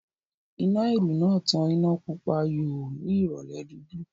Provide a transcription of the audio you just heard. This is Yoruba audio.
Iná ìrù náà tàn iná Pupa yòò ní ìrọ̀lẹ́ dúdú